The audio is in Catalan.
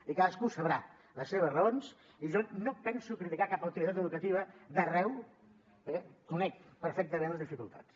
i cadascú deu saber les seves raons i jo no penso criticar cap autoritat educativa d’arreu perquè conec perfectament les dificultats